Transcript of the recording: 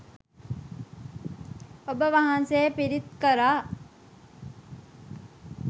ඔබ වහන්සේ පිරිත් කළා